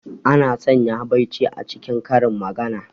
Ana sanya habaici a cikin karin magana.